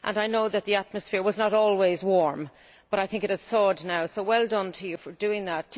I know that the atmosphere was not always warm, but I think it has thawed now, so well done to you for doing that.